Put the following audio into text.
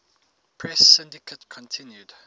press syndicate continued